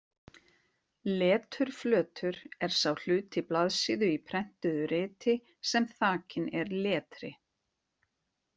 Leturflötur er sá hluti blaðsíðu í prentuðu riti sem þakinn er letri.